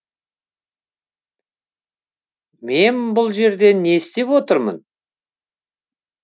мен бұл жерде не істеп отырмын